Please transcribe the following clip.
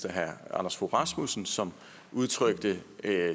herre anders fogh rasmussen som udtrykte